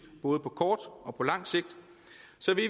både på kort og på langt sigt